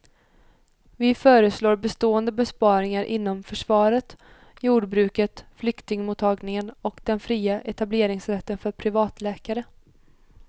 Vi föreslår bestående besparingar inom försvaret, jordbruket, flyktingmottagningen och den fria etableringsrätten för privatläkare.